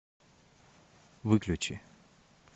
выключи